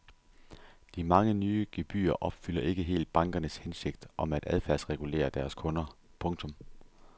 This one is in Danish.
De mange nye gebyrer opfylder ikke helt bankernes hensigt om at adfærdsregulere deres kunder. punktum